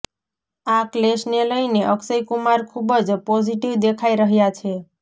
આ ક્લેશને લઈને અક્ષય કુમાર ખુબ જ પોઝિટિવ દેખાઈ રહ્યા છે